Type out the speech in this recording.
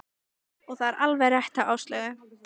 Og það var alveg rétt hjá Áslaugu.